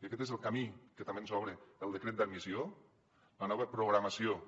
i aquest és el camí que també ens obre el decret d’admissió la nova programació